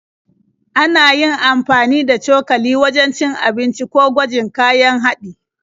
Ana amfani da cokali wajen cin abinci ko gwajin kayan haɗi.